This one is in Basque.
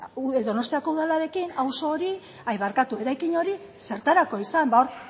donostiako udalarekin eraikin hori zertarako izan ba hor